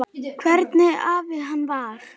Hvernig afi hann var.